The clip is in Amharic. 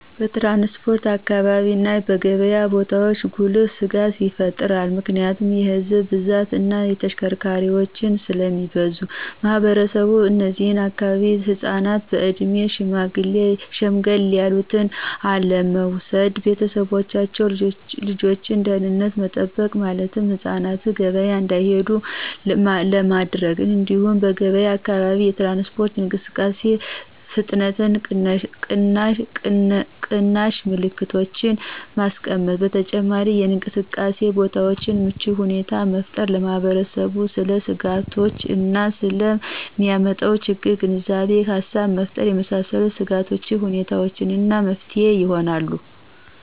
በትራንስፖርት አካባቢ እና በገብያ ቦታዎች ጉልህ ስጋት ይፈጥራል ምክንያቱም የህዝብ ብዛት እና ተሽከርካሪዎች ስለሚበዙ። ማህበረሰቡ እነዚህ አካባቢ ህፃናትን በእድሜ ሸምገል ያሉትን አለመውሰድ። ቤተሰቦቻቸው የልጆችን ደህንነት መጠበቅ ማለትም ህፃናትን ገበያ እንዲሄዱ አለማድረግ። እንዲሁም በገብያ አካባቢ የትራንስፖርት እንቅስቃሴ ፍጥነት ቀናሽ ምልክቶችን ማስቀመጥ። በተጨማሪም የእንቅስቃሴ ቦታዎችን ምቹ ሁኔታን መፍጠር። ለማህበረሰቡ ስለ ስጋቶች እና ስለ ሚያመጣው ችግሮች የግንዛቤ ሃሳብ መፍጠር የመሳሰሉት የስጋት ሁኔታዎች እና መፍትሄ ይሆናሉ።